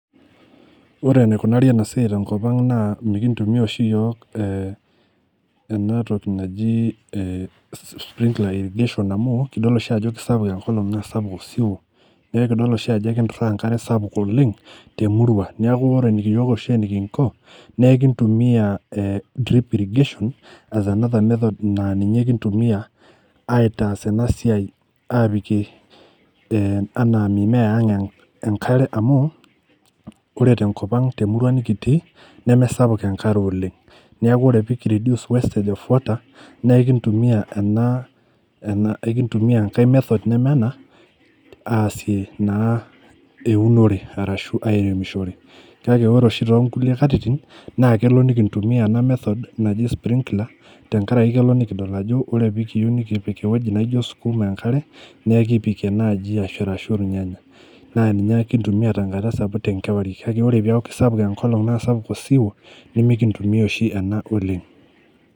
Oenaikunari ena siai tenkop ang naa mikintumia oshi iyiok eh enatoki naji naji eh sprinkler irrigation amu kidol oshi ajo kisapuk enkolong naa sapuk osiwuo neekidol oshi ajo ekinturra enkare sapuk oleng temurua niaku ore eniki iyiok oshi enikinko nekintumiyia eh drip irrigation[ as another method[ naa ninye kintumia aitaas ena siai apikie eh anaa mimea ang enkare amu ore tenkop ang temurua nikitii nemesapuk enkare oleng niaku ore pekiridius wastage of water nekintumia ena ena ekintumia enkae method neme ena aasie naa eunore arashu airemishore kake ore oshi tonkulie katitin naa kelo nikintumia ena method naji sprinkler tenkarake kelo nikidol ajo ore pekiyeu nikipik ewueji naijo skuma enkare nekipikie naaji ashu arashu irnyanya naa ninye kintumia tenkata sapuk tenkewarie kake ore piaku kisapuk enkolong naa sapuk osiwuo nimikintumia oshi ena oleng.